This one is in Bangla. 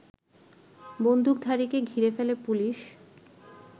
বন্দুকধারীকে ঘিরে ফেলে পুলিশ